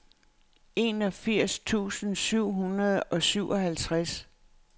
enogfirs tusind syv hundrede og syvoghalvfjerds